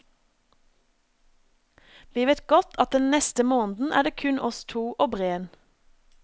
Vi vet godt at den neste måneden er det kun oss to og breen.